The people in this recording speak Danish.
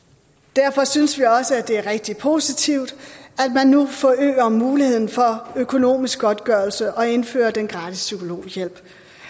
derfor synes vi også det er rigtig positivt at man nu forøger muligheden for økonomisk godtgørelse og indfører den gratis psykologhjælp